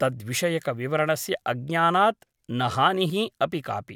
तद्विषयकविवरणस्य अज्ञानात् न हानिः अपि कापि ।